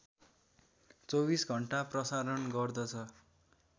२४ घण्टा प्रसारण गर्दछ